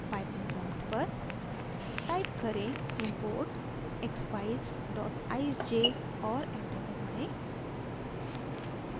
python prompt पर type करें: import expeyes eyesj और enter दबाएँ